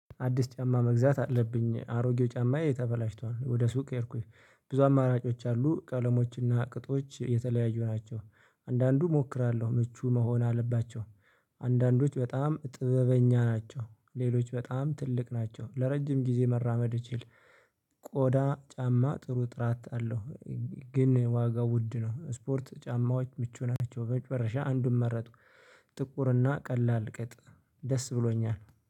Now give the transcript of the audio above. አዲስ ጫማ መግዛት አለብኝ አሮጌው ጫማዬ ተበላሽቷል ወደ ሱቅ ሄድኩኝ። ብዙ አማራጮች አሉ ቀለሞችና ቅጦች የተለያዩ ናቸው። አንዳንዱ እሞክራለሁ ምቹ መሆን አለባቸው። አንዳንዶች በጣም ጥበበኛ ናቸው። ሌሎች በጣም ትልቅ ናቸው ለረጅም ጊዜ መራመድ እችል። ቆዳ ጫማ ጥሩ ጥራት አለው። ግን ዋጋው ውድ ነው ስፖርት ጫማዎች ምቹ ናቸው በመጨረሻ አንዱን መረጥኩ። ጥቁርና ቀላል ቅጥ ደስ ብሎኛል።